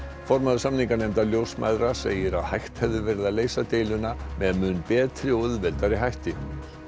formaður samninganefndar ljósmæðra segir að hægt hefði verið að leysa deiluna með mun betri og auðveldari hætti